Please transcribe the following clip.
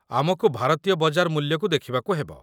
ଆମକୁ ଭାରତୀୟ ବଜାର ମୂଲ୍ୟକୁ ଦେଖିବାକୁ ହେବ।